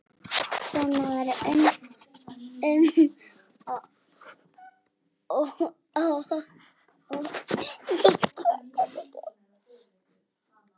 Svenna verður um og ó.